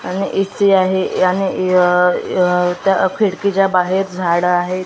आणि इति आहे याने य य खिडकीच्या बाहेर झाडं आहेत .